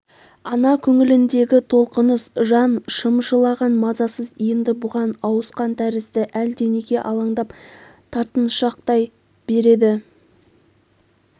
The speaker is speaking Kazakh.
ана көңіліндегі толқыныс жан шымшылаған мазасыз енді бұған ауысқан тәрізді әлденеге алаңдап тартыншақтай береді